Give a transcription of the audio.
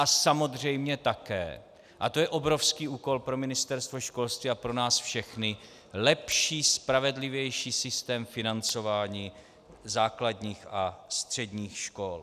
A samozřejmě také, a to je obrovský úkol pro Ministerstvo školství a pro nás všechny, lepší, spravedlivější systém financování základních a středních škol.